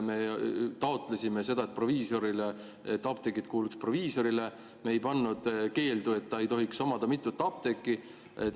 Me taotlesime seda, et apteegid kuuluks proviisorile, me ei pannud keeldu, et proviisor ei tohiks omada mitut apteeki.